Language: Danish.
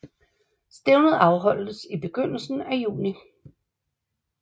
Stævnet afholdes i begyndelsen af juni